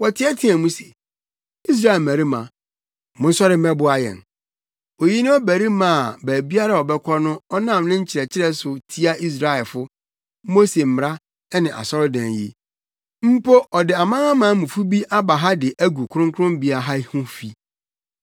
Wɔteɛteɛɛ mu se, “Israel mmarima, monsɔre mmɛboa yɛn! Oyi ne ɔbarima a baabiara a ɔbɛkɔ no ɔnam ne nkyerɛkyerɛ so tia Israelfo, Mose mmara ne asɔredan yi. Mpo ɔde amanamanmufo bi aba ha de agu Kronkronbea ha ho fi.”